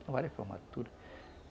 Tem várias formaturas.